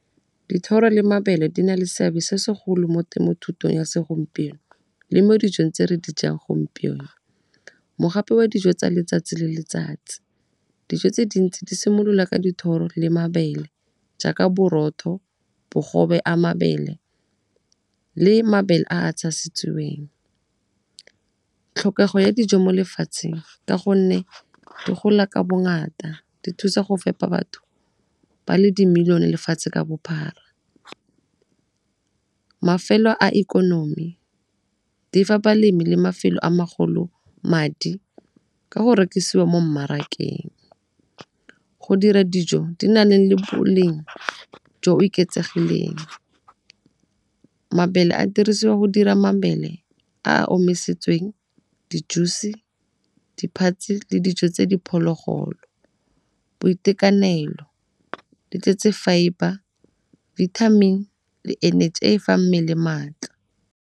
Dithoro le mabele di na le seabe se segolo mo temothutong ya segompieno le mo dijong tse re dijang gompieno. Mogapi wa dijo tsa letsatsi le letsatsi, dijo tse dintsi di simolola ka dithoro le mabele jaaka borotho, bogobe a mabele le mabele a a . Tlhokego ya dijo mo lefatsheng ka gonne di gola ka bongata di thusa go fepa batho ba le di-million-e lefatshe ka bophara. Mafelo a ikonomi di fa balemi le mafelo a magolo madi ka go rekisiwa mo mmarakeng, go dira dijo di na leng le boleng jo eketsegileng. Mabele a dirisiwa go dira mabele a a omisitsweng, di-juice, di le dijo tsa diphologolo. Boitekanelo di tletse fibre, vitamin le energy e e fang mmele maatla.